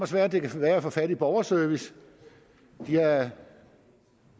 svært det kan være at få fat i borgerservice de har